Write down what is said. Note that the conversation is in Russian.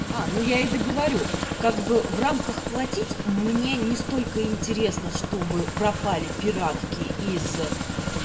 а ну я и договорю как бы в рамках платить мне не столько интересно чтобы пропали пиратки из